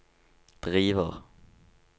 driver